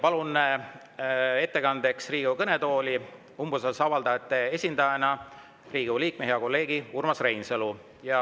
Palun ettekandeks Riigikogu kõnetooli umbusalduse avaldajate esindaja, Riigikogu liikme, hea kolleegi Urmas Reinsalu.